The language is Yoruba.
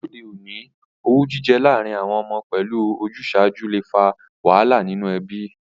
Lóde ọ̀ní, owú jijẹ lárìn àwon ọmọ pẹ́lu ojúsàju le fa wàhálà nínú ebí